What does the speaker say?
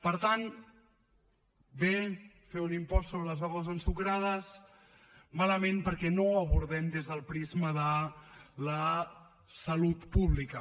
per tant bé fer un impost sobre les begudes ensucrades malament perquè no ho abordem des del prisma de la salut pública